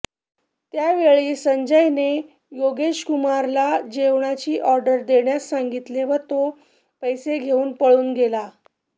त्यावेळी संजयने योगेशकुमारला जेवणाची ऑर्डर देण्यास सांगितले व तो पैसे घेऊन पळून गेला